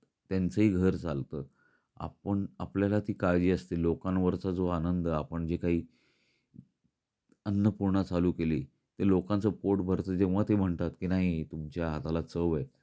त्यांच ही घर चालत आपण आपल्याला ती काळजी असते लोकांवरचा जो आनंद आपण जे काही अन्नपूर्णा चालू केली ते लोकांच पोट भरत तेव्हा ते म्हणतात की नाही तुमच्या हाताला चव आहे.